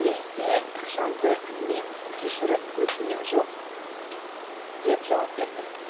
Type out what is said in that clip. лезде ықшамды үнмен кешірім өтінем жоқ деп жауап берді